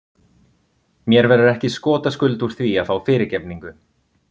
Mér verður ekki skotaskuld úr því að fá fyrirgefningu.